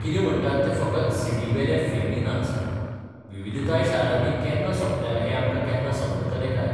कितें म्हणटात ते फकत सीडीवेले फिल्मी नाच विविधताय शारांनी केन्ना सोंपल्या हें आमकां केन्ना समजतलें काय?